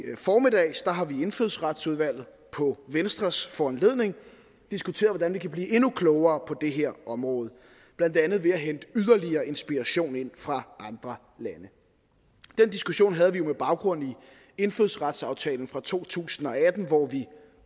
formiddags har vi i indfødsretsudvalget på venstres foranledning diskuteret hvordan vi kan blive endnu klogere på det her område blandt andet ved at hente yderligere inspiration fra andre lande den diskussion havde vi med baggrund i indfødsretsaftalen fra to tusind og atten hvor vi